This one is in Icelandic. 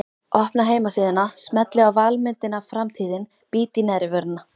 Opna heimasíðuna, smelli á valmyndina Framtíðin, bít í neðrivörina.